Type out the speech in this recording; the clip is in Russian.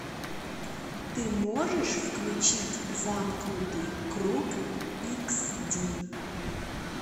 ты можешь включить замкнутый круг икс ди